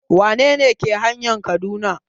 Wane ne ke hanayan Kaduna?